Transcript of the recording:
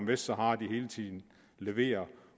vestsahara de hele tiden leverer